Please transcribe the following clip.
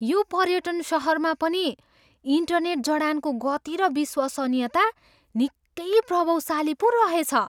यो पर्यटन सहरमा पनि इन्टरनेट जडानको गति र विश्वसनीयता निकै प्रभावशाली पो रहेछ।